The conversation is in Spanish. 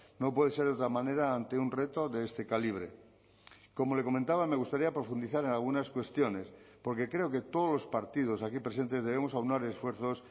no puede ser de otra manera ante un reto de este calibre como le comentaba me gustaría profundizar en algunas cuestiones porque creo que todos los partidos aquí presentes debemos aunar esfuerzos